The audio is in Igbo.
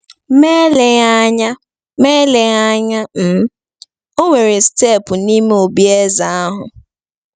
Ma eleghị anya Ma eleghị anya um e nwere steepụ n’ime obí eze ahụ.